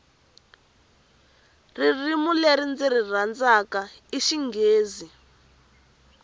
ririmi leri ndziri rhandzaku i xinghezi